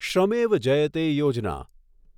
Shramev Jayate Yojana